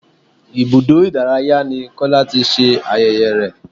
Ibùdó ìdárayá ni kola ti ṣe ayẹyẹ rẹ̀